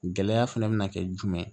Gɛlɛya fana bɛna kɛ jumɛn